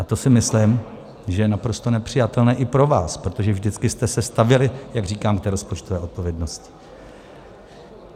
A to si myslím, že je naprosto nepřijatelné i pro vás, protože vždycky jste se stavěli, jak říkám, k té rozpočtové odpovědnosti.